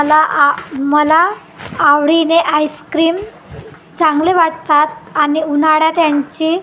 मला आ मला आवडीने आईस्क्रीम चांगले वाटतात आणि उन्हाळ्यात यांची--